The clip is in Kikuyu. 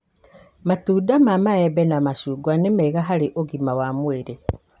Matunda ta maembe na macungwa nĩ mega harĩ ũgima wa mwĩrĩ.